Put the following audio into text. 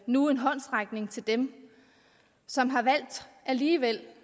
nu en håndsrækning til dem som har valgt alligevel